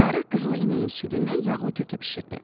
Qarı qızılı inəyin südündən yağlı kökə bişirdi.